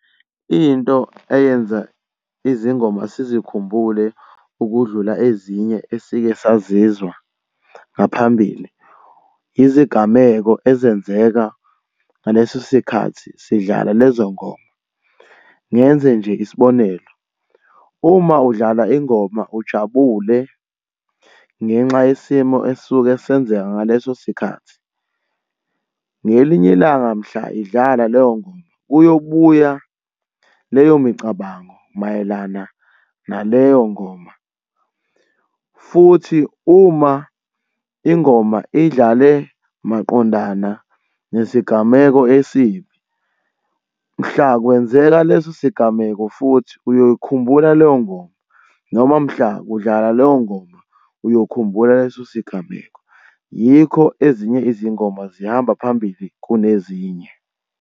Into eyenza izingoma sizikhumbule ukudlula ezinye esike sazizwa ngaphambili, izigameko ezenzeka ngaleso sikhathi sidlala lezo ngoma. Ngenze nje isibonelo, uma udlala ingoma ujabule ngenxa yesimo esuke senzeka ngaleso sikhathi, ngelinye ilanga mhla idlala leyo ngoma kuyobuya leyo micabango mayelana naleyo ngoma, futhi uma ingoma idlale maqondana nesigameko esibi, mhla kwenzeka leso sigameko futhi uyoyikhumbula leyo ngoma noma mhla kudlala leyo ngoma uyokhumbula leso sigameko. Yikho ezinye izingoma zihamba phambili kunezinye.